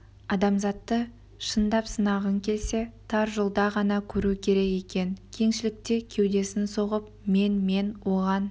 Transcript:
азаматты шындап сынағың келсе тар жолда ғана көру керек екен кеңшілікте кеудесін соғып мен мен оған